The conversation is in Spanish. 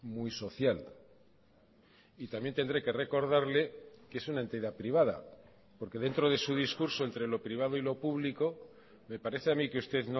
muy social y también tendré que recordarle que es una entidad privada porque dentro de su discurso entre lo privado y lo público me parece a mí que usted